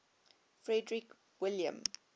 frederick william